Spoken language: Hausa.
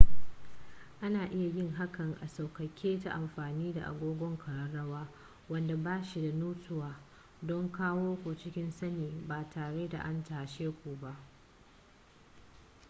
ana iya yin hakan a sauƙaƙe ta amfani da agogon ƙararrawa wanda ba shi da nutsuwa don kawo ku cikin sani ba tare da an tashe ku ba